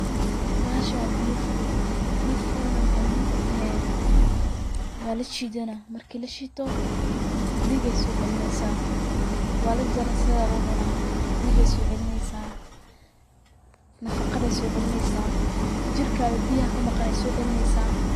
Bahashan waa biya furut, biya furut na maxay muhiim utehe waa la shiidana, markii la shiito dhigay soo celineysa, waa la jarjarana sideda lugu cunaa, dhigay soo celineysa nafaqay soo celineysa, jirkaga biyaha kamaqan ayay soo celineysa